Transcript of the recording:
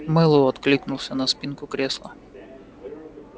мэллоу откликнулся на спинку кресла